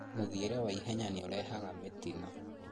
mũthiĩre wa ihenya nĩũrehaga mĩtino